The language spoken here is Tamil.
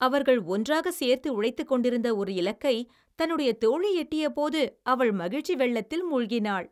அவர்கள் ஒன்றாகச் சேர்ந்து உழைத்துக்கொண்டிருந்த ஒரு இலக்கை தன்னுடைய தோழி எட்டியபோது அவள் மகிழ்ச்சி வெள்ளத்தில் மூழ்கினாள்.